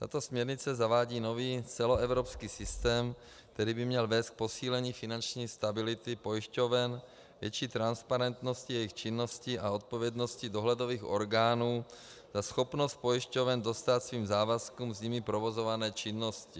Tato směrnice zavádí nový celoevropský systém, který by měl vést k posílení finanční stability pojišťoven, větší transparentnosti jejich činností a odpovědnosti dohledových orgánů na schopnost pojišťoven dostát svým závazkům z jimi provozované činnosti.